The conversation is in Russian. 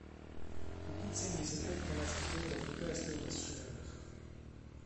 купить семьдесят пять канадских долларов какая стоимость в шиллингах